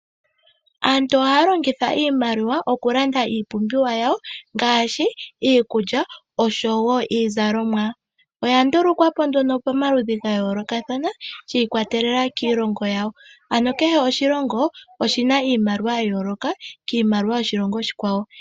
Aantu ohaya longitha iimaliwa okulanda iipumbiwa yawo ngaashi iikulya osho wo iizalomwa. Oya ndulukwapo nduno pomaludhi ga yoolokathana shi ikwatelela kiilongo yawo. Ano kehe oshilongo oshina iimaliwa ya yooloka kiimaliwa yoshilongo oshikwawo.